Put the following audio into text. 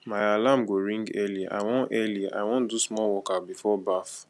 my alarm go ring early i wan early i wan do small workout before bath